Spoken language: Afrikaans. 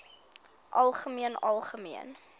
algemeen algemeen